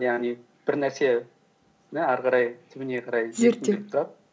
яғни бір нәрсені ары қарай түбіне қарай зерттеу